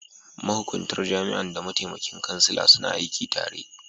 Mahukuntar jami'an da mataimakin kansila suna aiki tare.